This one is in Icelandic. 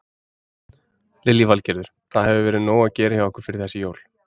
Lillý Valgerður: Það hefur verið nóg að gera hjá ykkur fyrir þessi jól?